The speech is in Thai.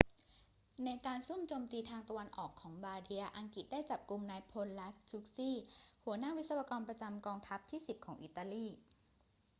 ในการซุ่มโจมตีทางตะวันออกของบาร์เดีย อังกฤษได้จับกุมนายพล lastucci หัวหน้าวิศวกรประจำกองทัพที่ 10 ของอิตาลี